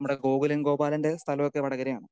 Speaker 2 നമ്മുടെ ഗോകുലൻ ഗോപാലൻറെ സ്ഥലമൊക്കെ വടകരയാണ്.